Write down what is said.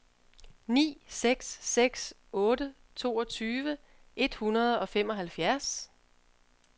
ni seks seks otte toogtyve et hundrede og femoghalvfjerds